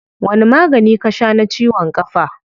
Wani magani ka shaa na ciwon kafa?